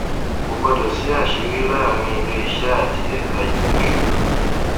kò gbọdọ sí àṣírí láàárín iléiṣẹ àti ẹka ètò ìṣúná